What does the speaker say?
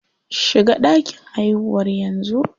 Shiga ɗakin haihuwar yanzu.